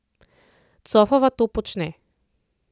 Cofova to počne.